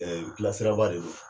Ɛɛ gilasirabaa de don